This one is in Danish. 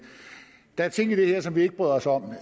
der er ting i det her som vi ikke bryder os om